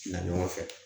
Na ɲɔgɔn fɛ